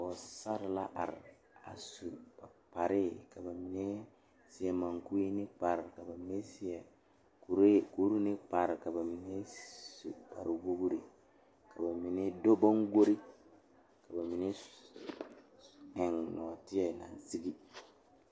Teere mine pare la ka yiri kaŋa are a be kyɛ kaa bipole a de gangaare yeere ba kɔkɔre poɔ kyɛ kaa kaŋa seɛ kuri wogi kaa gbɛɛ e peɛrɛ peeɛ kyɛ ko'o de bonziɛ le o zu.